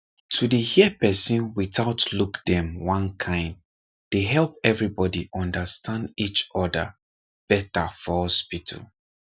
to dey hear person without look dem one kind dey help everybody understand each other better for hospital